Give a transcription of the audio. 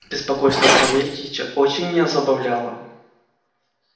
беспокойство савельича очень меня забавляло